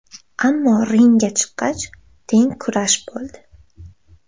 Ammo ringga chiqqach teng kurash bo‘ldi.